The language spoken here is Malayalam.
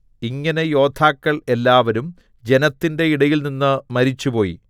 ഇങ്ങനെ യോദ്ധാക്കൾ എല്ലാവരും ജനത്തിന്റെ ഇടയിൽനിന്ന് മരിച്ചുപോയി